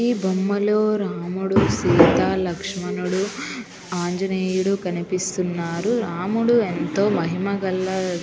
ఇక్కడ బొమ్మ లో రాముడు సీత లక్ష్మణుడు ఆంజనేయుడు కనిపిస్తున్నారు రాముడు ఎంతో మహిమగల--